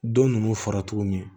Don ninnu fara tuguni